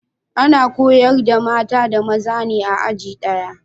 Ana koyar da mata da maza ne a aji daya